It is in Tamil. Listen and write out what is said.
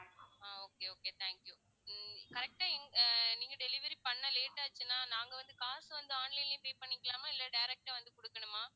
ah okay okay thank you hmm correct ஆ இந்~ ஆஹ் நீங்க delivery பண்ண late ஆச்சுன்னா நாங்க வந்து காசு வந்து online லயே pay பண்ணிக்கலாமா இல்லை direct ஆ வந்து கொடுக்கணுமா